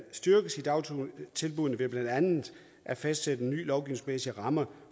styrkes i dagtilbuddene ved blandt andet at fastsætte nye lovgivningsmæssige rammer